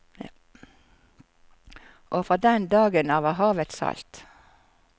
Og fra den dagen av er havet salt.